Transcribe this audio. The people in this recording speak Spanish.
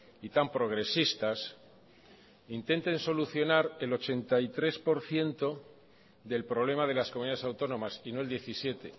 y tan progresistas intenten solucionar el ochenta y tres por ciento del problema de las comunidades autónomas y no el diecisiete